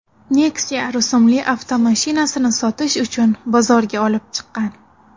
Nexia rusumli avtomashinasini sotish uchun bozorga olib chiqqan.